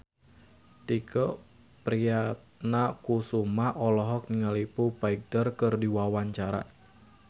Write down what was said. Tike Priatnakusuma olohok ningali Foo Fighter keur diwawancara